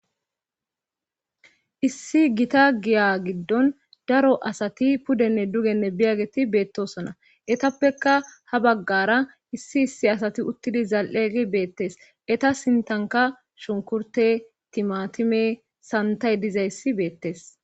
Issi gita giya giddon daro asati pudenne dugenne biyageti beettosona etappekka ha baggara issi issi asati uttidi zal'egi beettes eta sintanka shunkurte timatime santay dizayssi beettees